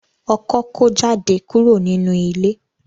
Ọkọ ko jáde kúrò nínú ilé.